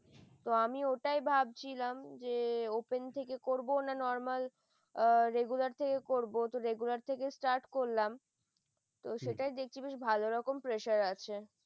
তো আমি ঐটাই ভাবছিলাম, যে open থেকে করব না normal আহ regular থেকে করব, regular থেকে start করলাম সেইটাই দেখছি বেশ ভালোরকম pressure আছে